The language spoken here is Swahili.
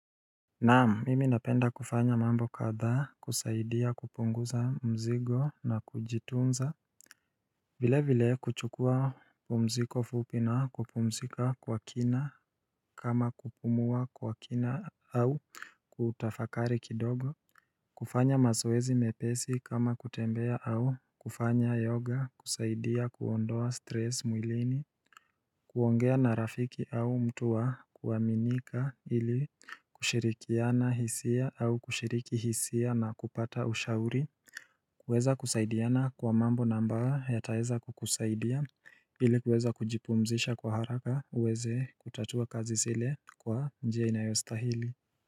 Naam, mimi napenda kufanya mambo kadhaa kusaidia kupunguza mzigo na kujitunza vile vile kuchukua pumziko fupi na kupumzika kwa kina kama kupumua kwa kina au kutafakari kidogo kufanya mazoezi mepesi kama kutembea au kufanya yoga kusaidia kuondoa stress mwilini kuongea na rafiki au mtu wa kuaminika ili kushirikiana hisia au kushiriki hisia na kupata ushauri kuweza kusaidiana kwa mambo na ambayo yataweza kukusaidia ilikuweza kujipumzisha kwa haraka uweze kutatua kazi zile kwa njia inayostahili.